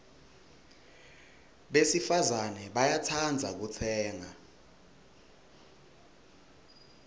besifazana bayatsandza kutsenga